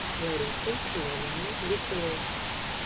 ларисой семеновной веселовой